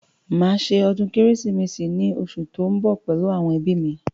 Màá ṣe ọdún kérésìmesì ní osù tó ń bọ̀ pẹ̀lú àwọn ẹbí mi